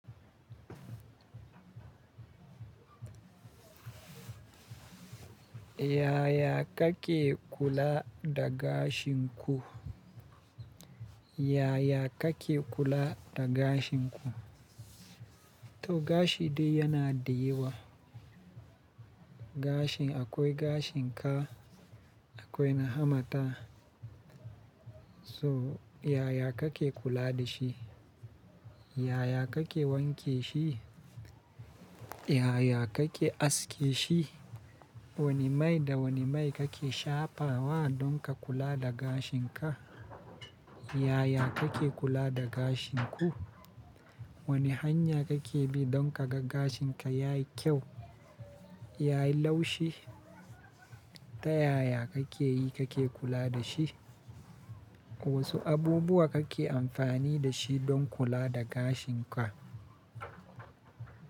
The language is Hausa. Yaya kake kula da gashin ku? Yaya kake kula da gashin ku? To gashi dai yana da yawa. Gashin akwai gashin ka, akwai na hamata. So yaya kake kula da shi? Yaya kake wanke shi? Yaya kake aske shi? Wane mai da wane mai kake shafa wa don ka kula da gashin ka? Yaya kake kula da gashin ku? Wane hanya kake bi don ka ga gashin ka yayi kyau, yayi laushi? Ta yaya kake yi kake kula da shi? Wasu abubuwa kake amfani da shi don kula da gashin ka?